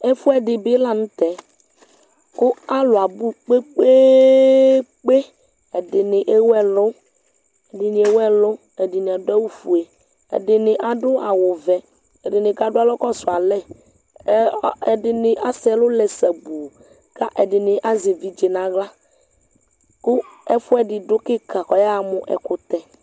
Ɛfuɛdi bi la nʋ tɛ kʋ alʋ abʋ kpekpeeekpe Ɛdini ɛwʋ ɛlʋ, ɛdi ni ɛwʋ ɛlʋ, ɛdi ni adʋ awʋ fue, ɛdi ni adʋ awʋ vɛ, ɛdi ni kadʋ alɔ kɔsʋ alɛ Ɛdi ni asɛ ɛlʋ lɛ sabuu kʋ ɛdi ni azɛ evidze naɣla kʋ ɛfuɛdi dʋ kika kʋ ɔyaɣa mʋ ɛkʋtɛ